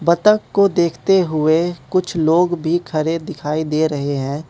बत्तख को देखते हुए कुछ लोग भी खरे दिखाई दे रहे हैं।